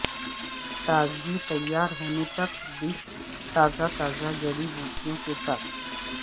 تازی تیار ہونے تک ڈش تازہ تازہ جڑی بوٹیوں کے ساتھ